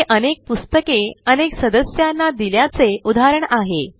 हे अनेक पुस्तके अनेक सदस्यांना दिल्याचे उदाहरण आहे